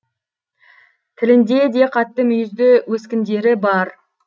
тілінде де қатты мүйізді өскіндері бар